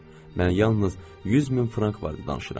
Mən yalnız 100 min frank barədə danışıram.